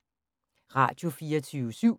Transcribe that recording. Radio24syv